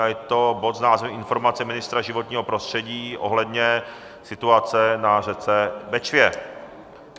A je to bod s názvem Informace ministra životního prostředí ohledně situace na řece Bečvě.